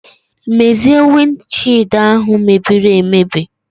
Mezie wind shied ahu mebiri emebi.